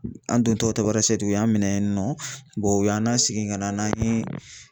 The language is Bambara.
An don tɔ Tamarasɛti y'an minɛ yen nɔ u y'an na sigi ka na n'an ye